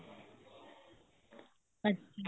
ਅੱਛਾ